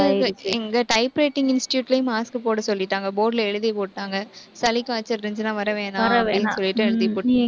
எங்க typewriting institute லயும் mask போட சொல்லிட்டாங்க board ல எழுதியே போட்டாங்க சளி காய்ச்சல் இருந்துச்சுன்னா, வர வேணாம் அப்படின்னு சொல்லிட்டு எழுதி போ~